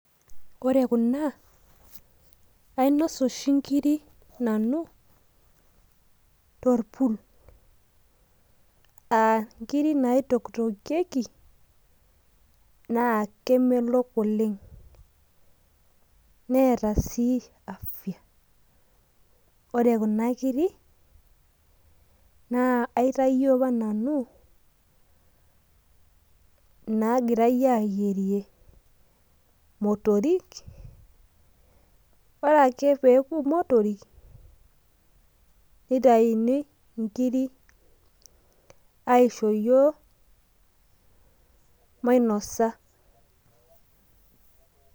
Ore kuna, ainosa oshi nkirik nanu, torpul. Ah nkirik naitoktokieki, naa kemelok oleng'. Neeta si afya. Ore kuna kirik, naa aitayio apa nanu inagirai ayierie motorik. Ore ake peoku motorik, nitayuni inkirik, aisho yiok, mainosa.